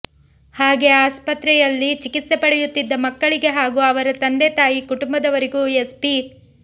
ಹಾಗೇ ಆಸ್ಪತ್ರೆಯಲ್ಲಿ ಚಿಕಿತ್ಸೆ ಪಡೆಯುತ್ತಿದ್ದ ಮಕ್ಕಳಿಗೆ ಹಾಗೂ ಅವರ ತಂದೆ ತಾಯಿ ಕುಟುಂಬದವರಿಗೂ ಎಸ್ಪಿ